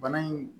Bana in